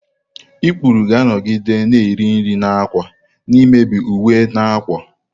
ikpuru ga-anọgide na-eri nri na ákwà, na-emebi uwe na akwa.